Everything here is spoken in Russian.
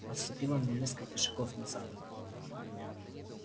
отступила на несколько шагов назад